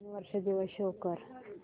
नवीन वर्ष दिवस शो कर